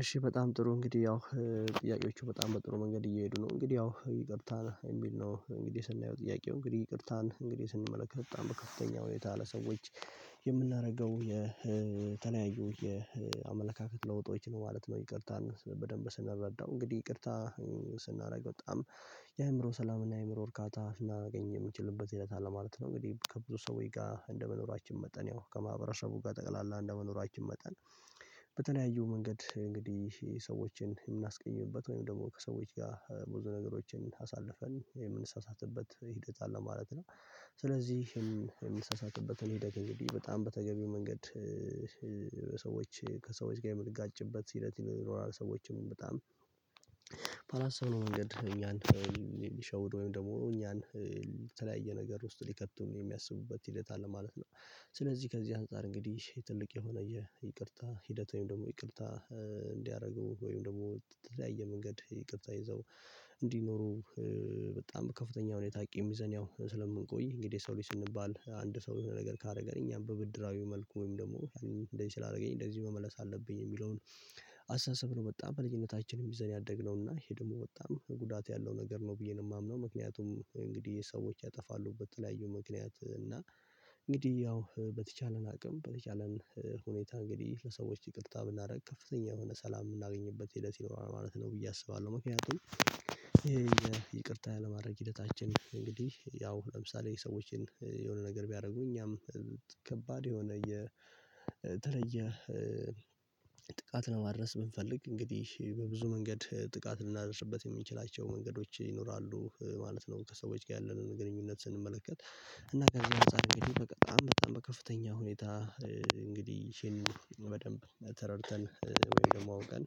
እሺ በጣም ጥሩ እንግዲህ ያው ጥያቄዎቹ በጣም በጥሩ መንገድ እየሄዱ ነው እንግዲህ ያው ይቅርታ የሚል ነው እንግዲህ ስናየው ጥያቄው እንግዲህ ይቅርታን እንግዲህ ስንመለከት በጣም በከፍተኛ ሁኔታ ለሰዎች የምናደረገው የተለያዩ የአመለካከት ለውጦች ነው ማለት ነው። ይቅርታን በደንብ ስንረዳው እንግዲህ ይቅርታ ስናደርግ በጣም የአእምሮ ሰላምና የአእምሮ እርካታ እናገኝ የምንችልበት ሂደት አለ ማለት ነው። እንግዲህ ከብዙ ሰዎች ጋር እንደመኖራችን መጠን ያው ከማህበረሰቡ በጠቅላላ እንደመኖራችን መጠን በተለያዩ መንገድ እንግዲህ ሰዎችን የምናስቀይምበት ወይም ደግሞ ከሰዎች ጋር ብዙ ነገሮችን አሳልፈን የምንሳሳትበት ሂደት አለ ማለት ነው። ስለዚህም የምንሳሳትበትን ሂደት እንግዲህ በጣም በተገቢው መንገድ በሰዎች ከሰዎች ጋር የምንጋጭበት ሂደት ይኖራል ሰዎችም በጣም ባላሰብነው መንገድ እኛን የሚሸውዱ ወይም ደግሞ እኛን የተለያየ ነገር ውስጥ ሊከቱን የሚያስቡበት ሂደት አለ ማለት ነው። ስለዚህ ከዚህ አንፃር እንግዲህ ትልቅ የሆነ የይቅርታ ሂደት ወይም ደግሞ ይቅርታ እንዲያረጉ ወይም ደግሞ የተለያየ መንገድ ይቅርታ ይዘው እንዲኖሩ በጣም በከፍተኛ ሁኔታ ቂም ይዘን ያው ስለምንቆይ እንግዲህ ሰው ልጅ ስንባል አንድ ሰው የሆነ ነገር ካረገ እኛም በብድራዊ መልኩ ወይም ደግሞ እንደዚህ ስላደረገኝ እንደዚህ መመለስ አለብኝ የሚለውን አስተሳሰብ ነው። በጣም በልጅነታችን ይዘን ያደግነው እና ይሄ ደግሞ በጣም ጉዳት ያለው ነገር ነው ብዬ ነው የማምነው። ምክንያቱም እንግዲህ ሰዎች ያጠፋሉ በተለያዩ ምክንያት እና እንግዲህ ያው በተቻለን አቅም በተቻለን ሁኔታ እንግዲህ ለሰዎች ይቅርታ ብናደርግ ከፍተኛ የሆነ ሰላም የምናገኝበት ሂደት ይኖራል ማለት ነው ብዬ አስባለሁ። ምክንያቱም ይሄ የይቅርታ ያለማድረግ ሂደታችን እንግዲህ ያው ለምሳሌ ሰዎችን የሆነ ነገር ቢያደርጉ እኛም ከባድ የሆነ የተለየ ጥቃት ነው ማድረስ ብንፈልግ እንግዲህ በብዙ መንገድ ጥቃት ልናደርስበት የምንችላቸው መንገዶች ይኖራሉ ማለት ነው። ከሰዎች ጋር ያለንን ግንኙነት ስንመለከት እና ከዚህ አንፃር እንግዲህ በጣም በጣም በከፍተኛ ሁኔታ እንግዲህ ሼም በደንብ ተረድተን ወይ ደግሞ አውቀን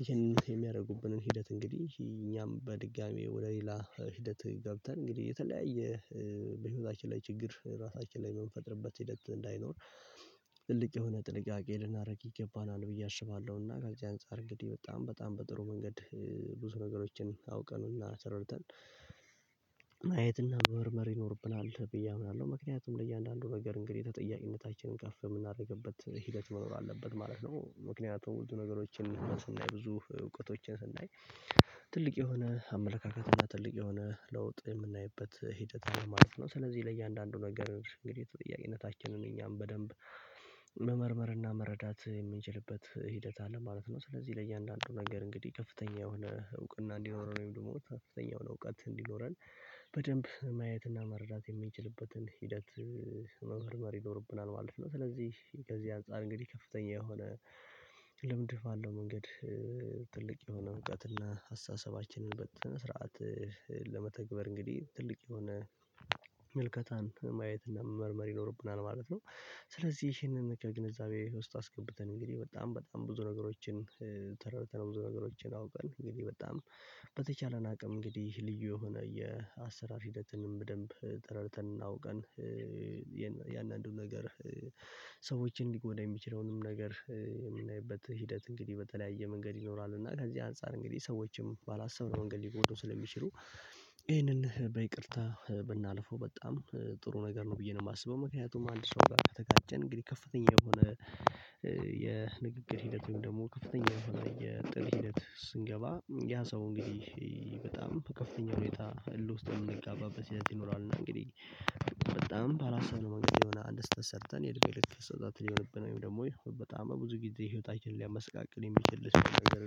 ይሄን የየትኛውም የሚያደርጉብንን ሂደት እንግዲህ እኛም በድጋሜ ወደ ሌላ ሂደት ገብተን እንግዲህ የተለያየ በህይወታችን ላይ ችግር ራሳችን ላይ የምንፈጥርበት ሂደት እንዳይኖር ትልቅ የሆነ ጥንቃቄ ልናደርግ ይገባናል ብዬ አስባለሁና። ከዚህ አንፃር እንግዲህ በጣም በጣም በጥሩ መንገድ ብዙ ነገሮችን አውቀን እና ተረድተን ማየትና መመርመር ይኖርብናል ብዬ አምናለሁ ምክንያቱም ለእያንዳንዱ ነገር እንግዲህ ተጠያቂነታችንን ከፍ የምናደርግበት ሂደት መኖር አለበት ማለት ነው። ምክንያቱም ቶሎ ነገሮችን ስናይ ብዙ እውቀቶችን ስናይ ትልቅ የሆነ አመለካከት እና ትልቅ የሆነ ለውጥ የምናይበት ሂደት ነው ማለት ነው። ስለዚህ ለእያንዳንዱ ነገር እንግዲህ ተጠያቂነታችንን እኛም በደንብ መመርመርና መረዳት የምንችልበት ሂደት አለ ማለት ነው። ስለዚህ ለእያንዳንዱ ነገር እንግዲህ ከፍተኛ የሆነ እውቅና እንዲኖረን ወይም ደግሞ ከፍተኛ የሆነ እውቀት እንዲኖረን በደንብ ማየትና መረዳት የምንችልበትን ሂደት መመርመር ይኖርብናል ማለት ነው። ስለዚህ ከዚህ አንፃር እንግዲህ ከፍተኛ የሆነ ልምድ ባለው መንገድ ትልቅ የሆነ እውቀት እና አስተሳሰባችንን በስነ ስርዓት ለመተግበር እንግዲህ ትልቅ የሆነ ምልከታን ማየትና መመርመር ይኖርብናል ማለት ነው። ስለዚህ ይሄንን ከግንዛቤ ውስጥ አስገብተን እንግዲህ በጣም በጣም ብዙ ነገሮችን ተረድተን ብዙ ነገሮችን አውቀን እንግዲህ በጣም በተቻለን አቅም እንግዲህ ልዩ የሆነ የአሰራር ሂደትንም በደንብ ተረድተን እናውቀን እያንዳንዱ ነገር ሰዎችን ሊጎዳ የሚችለውንም ነገር የምናይበት ሂደት እንግዲህ በተለያየ መንገድ ይኖራል እና ከዚህ አንፃር እንግዲህ ሰዎችም ባላሰብነው መንገድ ሊጎዱን ስለሚችሉ ይሄንን በይቅርታ ብናልፈው በጣም ጥሩ ነገር ነው ብዬ ነው የማስበው። ምክንያቱም አንድ ሰው ጋር ከተጋጨን እንግዲህ ከፍተኛ የሆነ የንግግር ሂደትም ደግሞ ከፍተኛ የሆነ የጥል ሂደት ስንገባ ያ ሰው እንግዲህ በጣም ከፍተኛ ሁኔታ እልህ ውስጥ የምንጋባበት ይኖራል እና እንግዲህ በጣም ባላሰብነው መንገድ የሆነ አንድ ስህተት ሰርተን የእድሜ ልክ ስህተት ሊሆንብን ወይም ደግሞ በጣም ብዙ ጊዜ ህይወታችንን ሊያመሰቃቅል የሚችል ሰው ነገር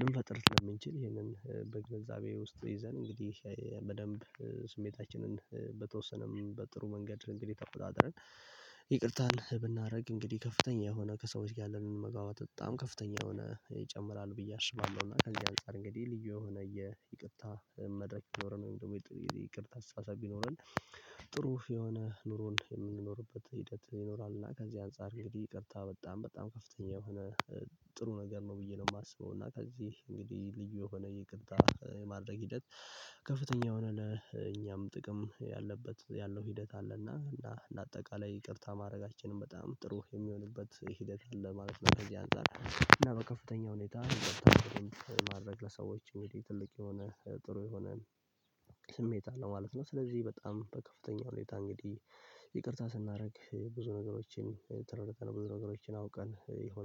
ልንፈጥር ስለምንችል ይሄንን በግንዛቤ ውስጥ ይዘን እንግዲህ በደንብ ስሜታችንን በተወሰነ በጥሩ መንገድ እንግዲህ ተቆጣጥረን ይቅርታን ብናደርግ እንግዲህ ከፍተኛ የሆነ ከሰዎች ጋር ያለንን መግባባት በጣም ከፍተኛ የሆነ ይጨምራል ብዬ አስባለሁ። እና ከዚህ አንፃር እንግዲህ ልዩ የሆነ የይቅርታ መድረክ ሊኖረን ወይም ደግሞ የይቅርታ አስተሳሰብ ቢኖረን ጥሩ የሆነ ኑሮን የምንኖርበት ሂደት ይኖራልና። ከዚህ አንፃር እንግዲህ ይቅርታ በጣም በጣም ከፍተኛ የሆነ ጥሩ ነገር ነው ብዬ ነው የማስበው። እና ከዚህ እንግዲህ ልዩ የሆነ ይቅርታ የማድረግ ሂደት ከፍተኛ የሆነ ለእኛም ጥቅም ያለበት ያለው ሂደት አለና እና እንደ አጠቃላይ ይቅርታን ማድረጋችንም በጣም ጥሩ የሚሆንበት ሂደት አለ ማለት ነው። ከዚህ አንፃር እና በከፍተኛ ሁኔታ ማድረግ ለሰዎች እንግዲህ ትልቅ የሆነ ጥሩ የሆነ ስሜት አለው ማለት ነው። ስለዚህ በጣም በከፍተኛ ሁኔታ እንግዲህ ይቅርታ ስናደርግ ብዙ ነገሮችን ተረድተን ብዙ ነገሮችን አውቀን ይሆን